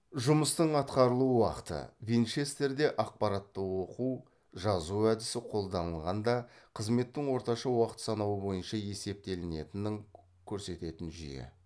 жұмыстың атқарылу уақыты винчестерде ақпаратты оқу жазу әдісі қолданылғанғанда қызметтің орташа уақыт санауы бойынша есептелінетінің көрсететін жүйе